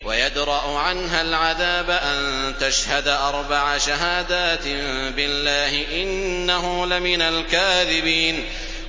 وَيَدْرَأُ عَنْهَا الْعَذَابَ أَن تَشْهَدَ أَرْبَعَ شَهَادَاتٍ بِاللَّهِ ۙ إِنَّهُ لَمِنَ الْكَاذِبِينَ